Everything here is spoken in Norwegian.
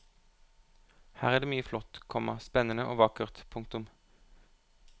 Her er mye flott, komma spennende og vakkert. punktum